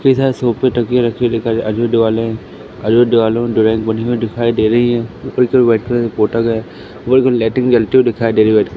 इधर सोफे दिखाई दे रही है व्हाइट कलर से पोता गया है लाइटिंग जलती हुई दिखाई दे रही है।